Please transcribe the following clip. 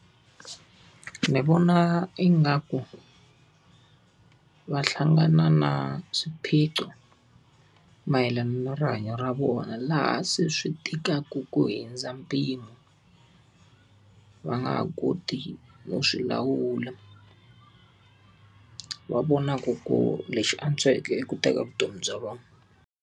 Ni vona ingaku, va hlangana na swiphiqo mayelana na rihanyo ra vona laha se swi tikaka ku hundza mpimo. Va nga ha koti no swi lawula. Va vonaku ku lexi antsweke i ku teka vutomi bya vona.